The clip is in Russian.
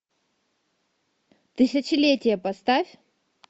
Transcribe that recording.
тысячелетие поставь